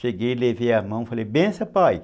Cheguei, levei a mão e falei, benção, pai.